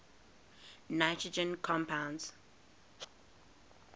nitrogen compounds